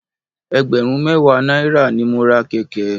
Ẹgbẹ̀rún mẹ́wàá náírà ni mo ra kẹ̀kẹ́.